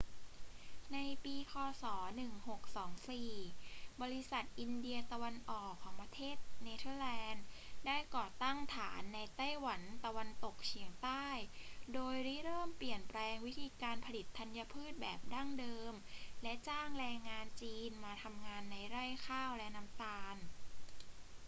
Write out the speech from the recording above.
ในปีค ศ. 1624 บริษัทอินเดียตะวันออกของประเทศเนเธอร์แลนด์ ได้ก่อตั้งฐานในไต้หวันตะวันตกเฉียงใต้ โดยริเริ่มเปลี่ยนแปลงวิธีการผลิตธัญพืชแบบดั้งเดิมและจ้างแรงงานจีนมาทำงานในไร่ข้าวและน้ำตาล